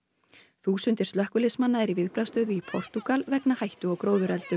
þúsundir slökkviliðsmanna eru í viðbragðsstöðu í Portúgal vegna hættu á gróðureldum